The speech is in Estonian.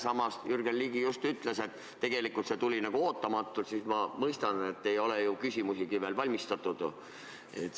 Samas, kui Jürgen Ligi just ütles, et tegelikult tuli see päevakorrapunkt ootamatult, siis ma mõistan, et ei ole ju küsimusigi ette valmistatud.